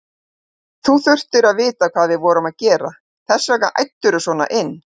Þú þurftir að vita hvað við vorum að gera, þess vegna æddirðu svona inn.